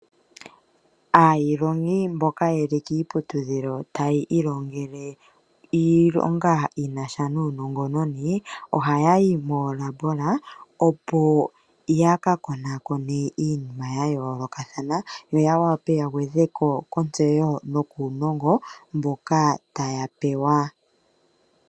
Aalongwa mboka yeli iiputudhilo taa ilongele iilonga yina sha nuunongoni, ohaa yi moolabolatoli, opo yaka konakone iinima ya yoolokathana, yo ya wape ya gwedheko kontseyo nuunongo mboka taya pewa.